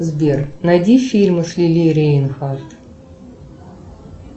сбер найди фильмы с лили рейнхарт